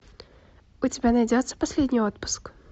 у тебя найдется последний отпуск